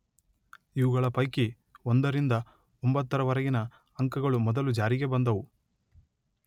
ಇವುಗಳ ಪೈಕಿ ಒಂದರಿಂದ ಒಂಬತ್ತರವರೆಗಿನ ಅಂಕಗಳು ಮೊದಲು ಜಾರಿಗೆ ಬಂದುವು.